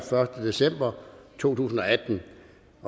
første december to tusind og atten